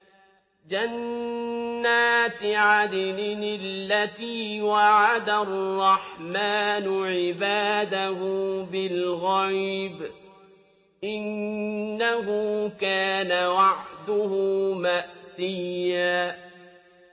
جَنَّاتِ عَدْنٍ الَّتِي وَعَدَ الرَّحْمَٰنُ عِبَادَهُ بِالْغَيْبِ ۚ إِنَّهُ كَانَ وَعْدُهُ مَأْتِيًّا